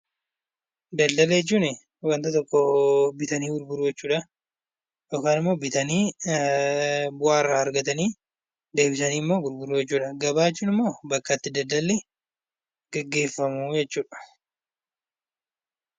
Daldala jechuun wanta tokko bitanii gurguruu jechuudha yookiin immoo bitanii bu'aa irraa argatanii deebisaniimmoo gurguruu jechuudha. Gabaa jechuun immoo bakka itti daldalli gaggeeffamu jechuudha.